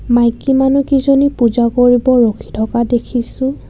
মাইকী মানুহ কিজনী পূজা কৰিব ৰাখি থকা দেখিছোঁ.